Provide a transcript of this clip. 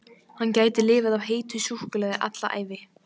Hann gæti lifað á heitu súkkulaði alla ævi!